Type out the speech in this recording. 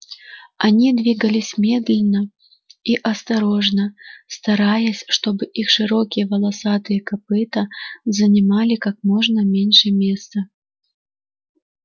они двигались медленно и осторожно стараясь чтобы их широкие волосатые копыта занимали как можно меньше места